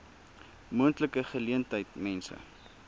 moontlike geleentheid mense